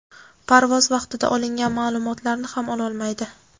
parvoz vaqtida olingan ma’lumotlarni ham ololmaydi.